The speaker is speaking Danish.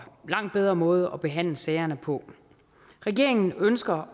langt bedre måde at behandle sagerne på regeringen ønsker